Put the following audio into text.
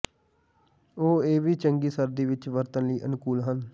ਉਹ ਇਹ ਵੀ ਚੰਗੀ ਸਰਦੀ ਵਿੱਚ ਵਰਤਣ ਲਈ ਅਨੁਕੂਲ ਹਨ